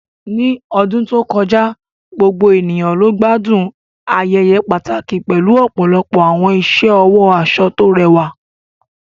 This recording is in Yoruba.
Ní ọdún tó kọjá, gbogbo ènìyàn ló gbádùn ayẹyẹ pàtàkì pẹ̀lú ọ̀pọ̀lọpọ̀ àwọn iṣẹ́ ọwọ́ aṣọ tó rẹwà